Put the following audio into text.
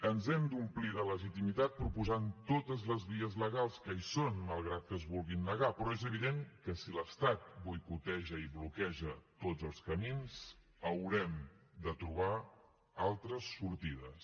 ens hem d’omplir de legitimitat proposant totes les vies legals que hi són malgrat que es vulguin negar però és evident que si l’estat boicoteja i bloqueja tots els camins haurem de trobar altres sortides